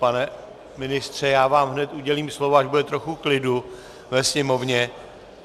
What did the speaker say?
Pane ministře, já vám hned udělím slovo, až bude trochu klidu ve sněmovně.